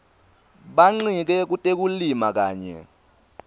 bancike kutekulima kanye